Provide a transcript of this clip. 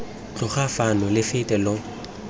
tloga fano lo fete lo